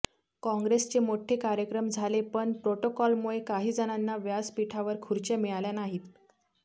काँग्रेसचे मोठे कार्यक्रम झाले पण प्रोटोकॉलमुळे काहीजणांना व्यासपीठावर खुर्च्या मिळाल्या नाहीत